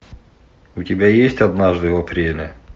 у тебя есть однажды в апреле